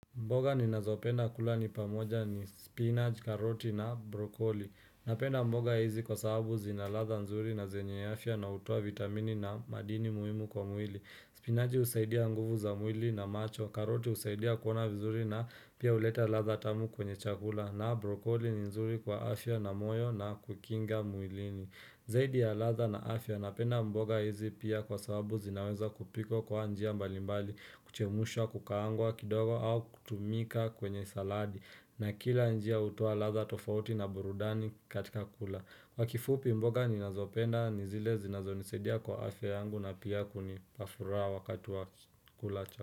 Mboga ni nazopenda kulani pamoja ni spinach, karoti na brokoli. Napenda mboga hizi kwa sababu zinaladha nzuri na zenye afya na hutoa vitamini na madini muhimu kwa muili. Spinach usaidia nguvu za muili na macho. Karoti usaidia kuona vizuri na pia uleta latha tamu kwenye chakula. Na brokoli nzuri kwa afya na moyo na kukinga muilini. Zaidi ya latha na afya napenda mboga hizi pia kwa sababu zinaweza kupikwa kwa njia mbalimbali. Kuchemusha kukaangwa kidogo au kutumika kwenye saladi na kila njia utuwa latha tofauti na burudani katika kula Kwa kifupi mboga ni nazopenda ni zile zinazo nisaidia kwa afya yangu na pia kunipafuraha wakatu wa kula cha.